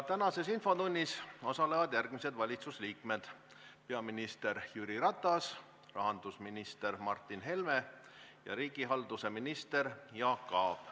Tänases infotunnis osalevad järgmised valitsusliikmed: peaminister Jüri Ratas, rahandusminister Martin Helme ja riigihalduse minister Jaak Aab.